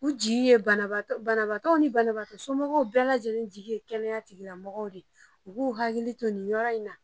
U jigi ye banabagatɔw ni banabagatɔ somɔgɔw bɛɛ lajɛlen jigi ye kɛnɛya tigila mɔgɔw de ye u k'u hakili to ni yɔrɔ in na.